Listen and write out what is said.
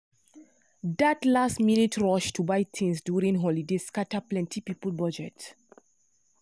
that last-minute rush to buy things during holiday scatter plenty people budget.